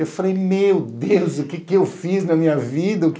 Eu falei, meu Deus, o que é que eu fiz na minha vida?